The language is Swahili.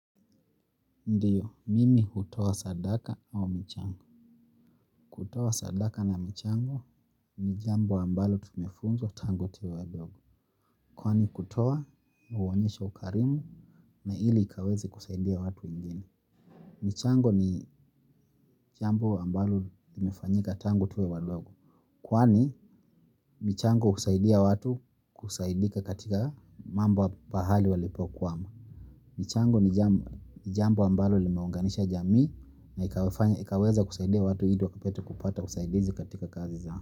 Ndiyo, mimi hutowa sadaka au michango. Kutowa sadaka na michango ni jambo ambalo tumefunzwa tango tuwe wadogo. Kwani kutowa, uonyesho ukarimu na ili ikaweze kusaidia watu wengine. Mchango ni jambo ambalo imefanyika tango tuwe wadogo. Kwani, michango husaidia watu kusaidika katika mambo bahali walipo kuama. Michango ni jambo ambalo limeunganisha jami na ikaweza kusaidia watu ili wakipetu kupata kusaidizi katika kazi za.